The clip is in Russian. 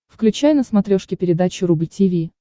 включай на смотрешке передачу рубль ти ви